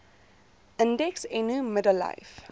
indeks eno middellyf